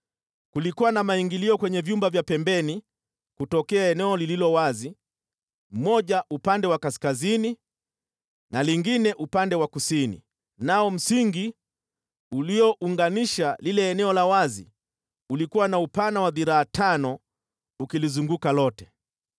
Kulikuwa na maingilio kwenye vyumba vya pembeni kutokea eneo lililo wazi, moja upande wa kaskazini na lingine upande wa kusini, nao msingi uliounganisha lile eneo la wazi ulikuwa na upana wa dhiraa tano ukilizunguka lote.